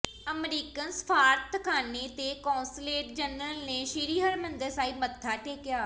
American ਸਫ਼ਾਰਤਖਾਨੇ ਦੇ consulate general ਨੇ ਸ੍ਰੀ ਹਰਿਮੰਦਰ ਸਾਹਿਬ ਮੱਥਾ ਟੇਕਿਆ